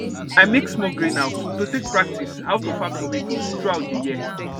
i make small greenhouse to take practice how to farm tomatoes throughout the year